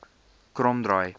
kromdraai